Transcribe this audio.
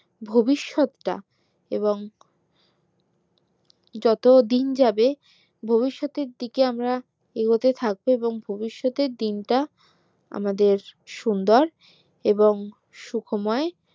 ভবিষৎ টা এবং যত দিন যাবে ভবিষৎ এর দিকে আমরা এগোতে থাকবো এবং ভবিষৎ এর দিনটা আমাদের সুন্দর এবং সুখময়